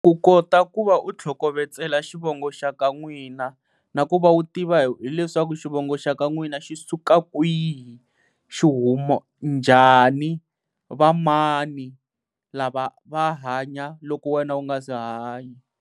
Ku kota ku va u tlhokovetsela xivongo xa ka n'wina, na ku va wu tiva hileswaku xivongo xa ka n'wina xi suka kwihi, xi huma njhani va mani lava va hanya loko wena u nga se hanya.